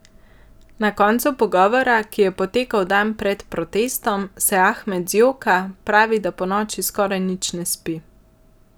Na koncu pogovora, ki je potekal dan pred protestom, se Ahmed zjoka, pravi, da ponoči skoraj nič ne spi.